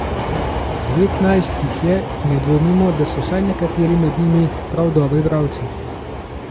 Devetnajst jih je in ne dvomimo, da so vsaj nekateri med njimi prav dobri bralci.